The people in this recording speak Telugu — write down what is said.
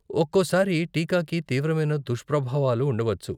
ఒక్కోసారి టీకాకి తీవ్రమైన దుష్ప్రభావాలు ఉండవచ్చు.